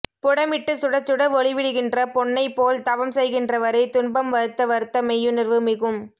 புடமிட்டு சுடச்சுட ஒளிவிடுகின்ற பொன்னைப் போல் தவம் செய்கின்றவரை துன்பம் வருத்த வருத்த மெய்யுணர்வு மிகும்